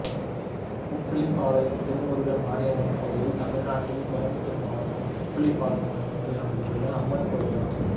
உப்பிலிபாளையம் திருமுருகன் மாரியம்மன் கோயில் தமிழ்நாட்டில் கோயம்புத்தூர் மாவட்டம் உப்பிலிபாளையம் என்னும் ஊரில் அமைந்துள்ள அம்மன் கோயிலாகும்